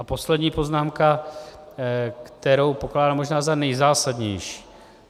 A poslední poznámka, kterou pokládám možná za nejzásadnější.